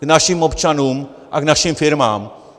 K našim občanům a k našim firmám.